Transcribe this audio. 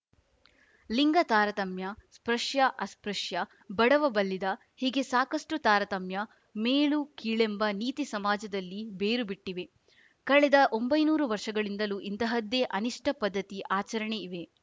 ಲಿಂಗ ತಾರತಮ್ಯ ಸ್ಪೃಶ್ಯಅಸ್ಪೃಶ್ಯ ಬಡವಬಲ್ಲಿದ ಹೀಗೆ ಸಾಕಷ್ಟುತಾರತಮ್ಯ ಮೇಲುಕೀಳೆಂಬ ನೀತಿ ಸಮಾಜದಲ್ಲಿ ಬೇರು ಬಿಟ್ಟಿವೆ ಕಳೆದ ಒಂಬೈನೂರು ವರ್ಷಗಳಿಂದಲೂ ಇಂಥಹದ್ದೇ ಅನಿಷ್ಟಪದ್ಧತಿ ಆಚರಣೆ ಇವೆ